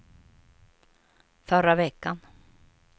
förra veckan